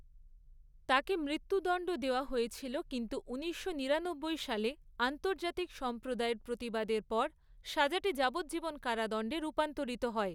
তাকে মৃত্যুদণ্ড দেওয়া হয়েছিল কিন্তু ঊনিশশো নিরানব্বই সালে আন্তর্জাতিক সম্প্রদায়ের প্রতিবাদের পর সাজাটি যাবজ্জীবন কারাদণ্ডে রূপান্তরিত হয়।